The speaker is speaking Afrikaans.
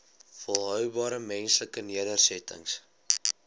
volhoubare menslike nedersettings